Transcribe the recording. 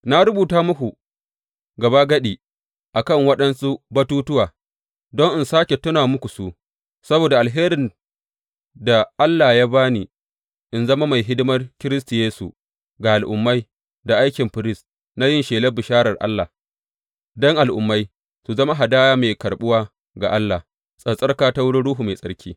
Na rubuta muku gabagadi a kan waɗansu batuttuwa, don in sāke tuna muku su, saboda alherin da Allah ya ba ni in zama mai hidimar Kiristi Yesu ga Al’ummai da aikin firist na yin shelar bisharar Allah, don Al’ummai su zama hadaya mai karɓuwa ga Allah, tsattsarka ta wurin Ruhu Mai Tsarki.